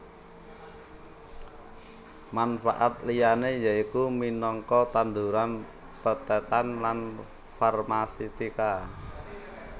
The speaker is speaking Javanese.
Manfaat liyané yaiku minangka tanduran pethètan lan farmasetika